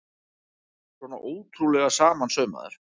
Svona ótrúlega samansaumaður!